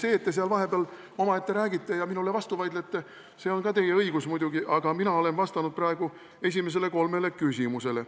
See, et te seal vahepeal omaette räägite ja minule vastu vaidlete, on ka teie õigus muidugi, aga mina olen vastanud praegu esimesele kolmele küsimusele.